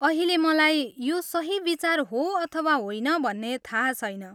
अहिले मलाई यो सही विचार हो अथवा होइन भन्ने थाहा छैन।